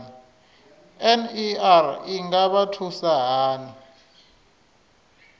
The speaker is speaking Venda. ner i nga vha thusa hani